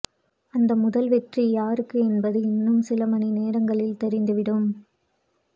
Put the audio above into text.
அந்த முதல் வெற்றி யாருக்கு என்பது இன்னும் சிலமணி நேரங்களில் தெரிந்து விடும்